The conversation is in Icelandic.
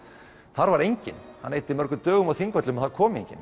þar var enginn hann eyddi mörgum dögum á Þingvöllum og það kom enginn